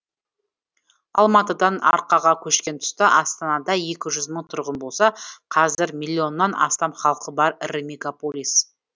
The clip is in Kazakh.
алматыдан арқаға көшкен тұста астанада екі жүз мың тұрғын болса қазір миллионнан астам халқы бар ірі мегаполис